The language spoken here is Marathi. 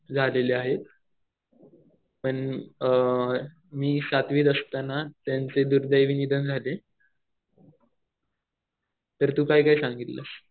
झालेले आहेत. पण मी सातवीत असताना त्यांचे दुर्दैवी निधन झाले. तर तु काय काय सांगितलंस?